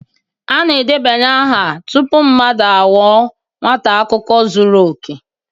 A na-edebanye aha tupu mmadụ aghọọ akwụkwọ zuru oke